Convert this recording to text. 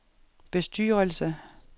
bestyrelse